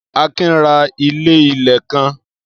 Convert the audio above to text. Akin ra ilé-ilẹ̀ kan.